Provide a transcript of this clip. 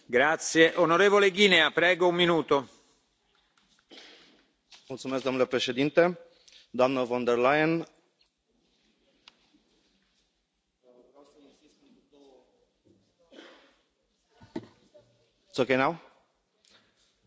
Domnule Președinte, doamnă von der Leyen, vreau să insist pe două lucruri importante pentru delegația română din grupul Renew.